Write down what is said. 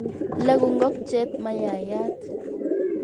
Lagu ngokchet mayayat